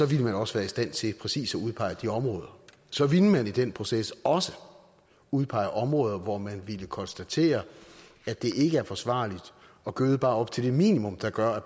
ville man også være i stand til præcis at udpege de områder så ville man i den proces også udpege områder hvor man ville konstatere at det ikke er forsvarligt at gøde bare op til det minimum der gør at